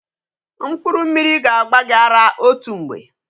Mkpụrụ mmiri ga-agba gị ara otu mgbe.